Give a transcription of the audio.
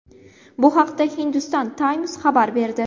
Bu haqda Hindustan Times xabar berdi .